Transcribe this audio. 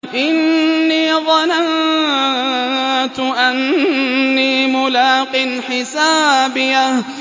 إِنِّي ظَنَنتُ أَنِّي مُلَاقٍ حِسَابِيَهْ